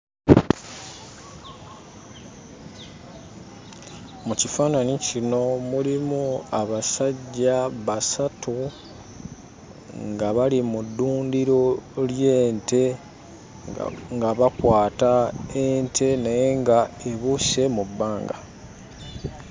Mu kifaananyi kino mulimu abasajja basatu nga bali mu ddundiro ly'ente nga bakwata ente naye nga ebuuse mu bbanga.